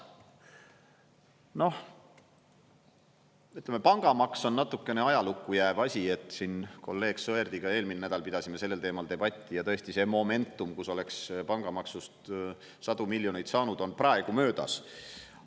Noh, pangamaks on natukene ajalukku jääv asi, et siin kolleeg Sõerdiga eelmine nädal pidasime sellel teemal debatti ja tõesti, see momentum, kus oleks pangamaksust sadu miljoneid saanud, on praegu möödas.